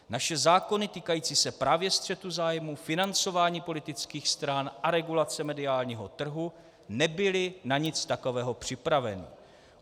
Naše zákony týkající se právě střetu zájmů, financování politických stran a regulace mediálního trhu nebyly na nic takového připraveny.